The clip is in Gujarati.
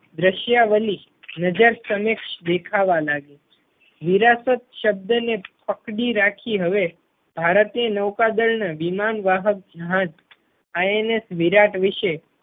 રશિયાવલી નજર સમક્ષ દેખાવા લાગી. વિરાસત શબ્દ ને પકડી રાખી હવે ભારતીય નૌકાદળ ને વિમાન વાહક જહાજ INS વિરાટ વિષે